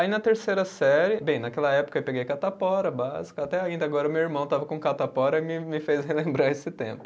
Aí na terceira série, bem, naquela época eu peguei catapora básica, até ainda agora meu irmão estava com catapora e me me fez relembrar esse tempo.